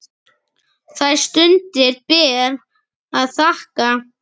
Þær stundir ber að þakka.